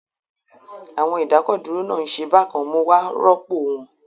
Àwọn ìdákọ̀dúró náà ń ṣe bákan mo wá rọ́pò wọn